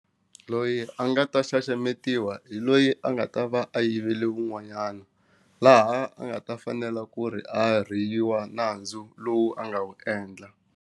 Loyi a nga ta xaxametiwaka hi loyi a nga ta va a yivele un'wanyana laha a nga ta fanela ku ri a riyiwa nandzu lowu a nga wu endla.